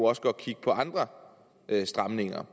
også godt kigge på andre stramninger